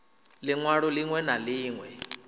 liṋ walo ḽiṋwe na ḽiṋwe